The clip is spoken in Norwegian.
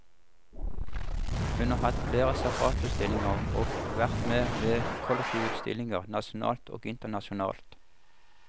Hun har hatt flere separatutstillinger og vært med ved kollektive utstillinger, nasjonalt og internasjonalt.